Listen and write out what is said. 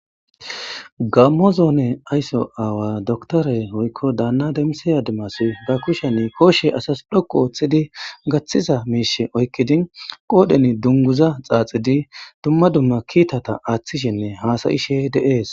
Gammo zoone aysso aawa doktore oykko daana damisiya dimasi ga kushani koshe asas dhoqu ooththidi gaththiza miishe oykkidin qoodhen dunguza xaaxidi dumma dumma kiitata aaththishenne haasayishe deees